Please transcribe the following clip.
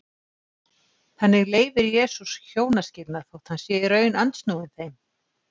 Þannig leyfir Jesús hjónaskilnaði þótt hann sé í raun andsnúinn þeim.